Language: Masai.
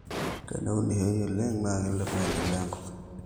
teneunishoi oleng naa keilep oleng maendeleo enkop